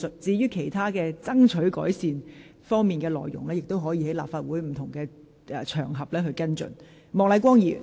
至於爭取當局作出改善的事宜，議員可在立法會其他場合跟進。